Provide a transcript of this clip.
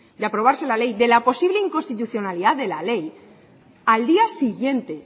de aprobarse la ley de la posible inconstitucionalidad de la ley al día siguiente